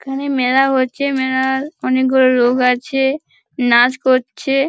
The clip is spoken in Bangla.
এখানে মেলা হচ্ছে। মেলা-এ-ও-র অনেকগুলো লোক আছে নাচ করছে।